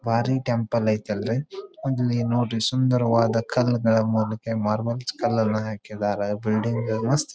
ಭಾರಿ ಟೆಂಪಲ್ ಐತ್ ಅಲ್ಲಿ ಒಂದ್ ಅಲ್ಲಿ ನೋಡ್ರಿ ಸುಂದರವಾದ ಮಾರ್ಬಲ್ಸ್ ಕಲ್ಲನ್ನ ಹಾಕಿದ್ದಾರೆ ಬಿಲ್ಡಿಂಗ್ ಮಸ್ತ್ --